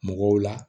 Mɔgɔw la